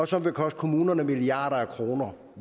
som vil koste kommunerne milliarder af kroner